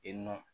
E nɔ